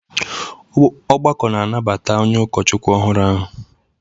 Ọgbakọ na-anabata onye ụkọchukwu ọhụrụ ahụ